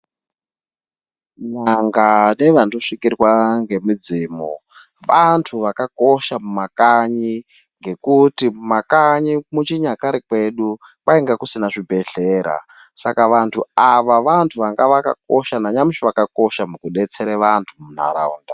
N'anga nevandosvikirwa ngemidzimu vantu vakakosha mumakanyi ngekuti mumakanyi muchinyakare kwedu kwainga kusina zvibhehlera. Saka vantu ava vantu vanga vakakosha nanyamushi vakakosha mukudetsere vantu muntaraunda.